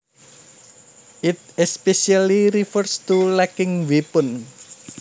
It especially refers to lacking weapons